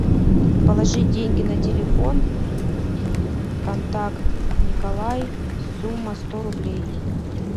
положи деньги на телефон контакт николай сумма сто рублей